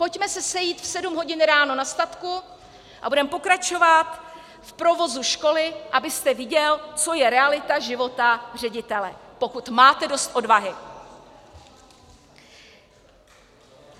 Pojďme se sejít v sedm hodin ráno na statku a budeme pokračovat v provozu školy, abyste viděl, co je realita života ředitele, pokud máte dost odvahy.